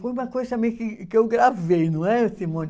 Foi uma coisa também que que eu gravei, não é, Simone?